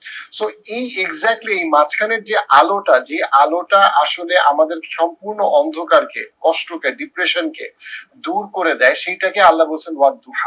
so এই exactly এই মাঝখানের যে আলোটা যে আলোটা আসলে আমাদের সম্পূর্ণ অন্ধকার কে কষ্ট কে depression কে দূর করে দেয় সেইটাকে আল্লাহ বলছেন